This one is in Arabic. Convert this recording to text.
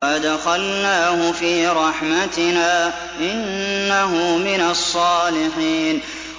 وَأَدْخَلْنَاهُ فِي رَحْمَتِنَا ۖ إِنَّهُ مِنَ الصَّالِحِينَ